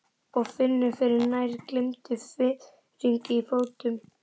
Og finnur fyrir nær gleymdum fiðringi í fótum.